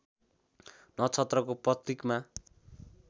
नक्षत्रको प्रतीकका